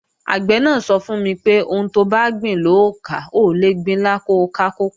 Àgbẹ̀ náà sọ fún mi pé, "Ohun tobá gbìn lò ó ká, o ò lè gbin ilá ko ká kókò"